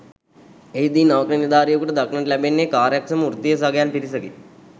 එහිදී නවක නිලධාරියෙකුට දක්නට ලැබෙන්නේ කාර්යක්ෂම වෘත්තීය සගයන් පිරිසකි.